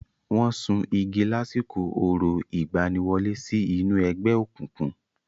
Wọ́n sun igi lásìkò orò ìgbaniwọlé sí inú ẹgbẹ́ òkùnkùn.